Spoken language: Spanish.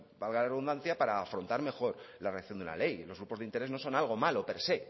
valga la redundancia para afrontar mejor la redacción de una ley los grupos de interés no son algo malo per se